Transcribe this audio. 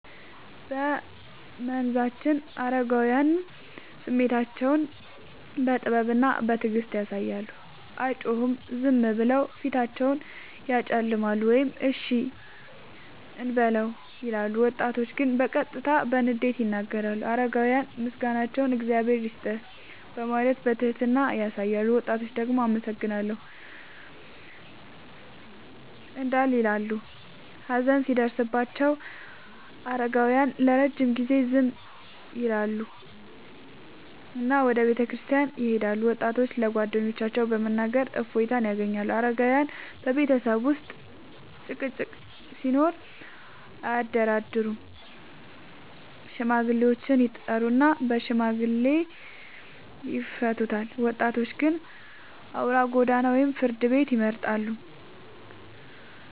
በመንዛችን አረጋውያን ስሜታቸውን በጥበብና በትዕግስት ያሳያሉ፤ አይጮሁም፤ ዝም ብለው ፊታቸውን ያጨለማሉ ወይም “እሺ እንበለው” ይላሉ። ወጣቶች ግን በቀጥታ በንዴት ይናገራሉ። አረጋውያን ምስጋናቸውን “እግዚአብሔር ይስጥህ” በማለት በትህትና ያሳያሉ፤ ወጣቶች ደግሞ “አመሰግናለሁ” እንዳል ይበሉ። ሀዘን ሲደርስባቸው አረጋውያን ለረጅም ጊዜ ዝም ይላሉና ወደ ቤተክርስቲያን ይሄዳሉ፤ ወጣቶች ለጓደኞቻቸው በመናገር እፎይታ ያገኛሉ። አረጋውያን በቤተሰብ ውስጥ ጭቅጭቅ ሲኖር አያደራደሩም፤ ሽማግሌዎችን ይጠሩና በሽምግልና ይፈቱታል። ወጣቶች ግን አውራ ጎዳና ወይም ፍርድ ቤት ይመርጣሉ።